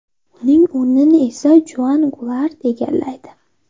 Uning o‘rnini esa Juan Gulart egallaydi.